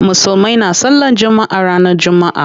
Musulmai na sallan jumma'a ranar jumma'a.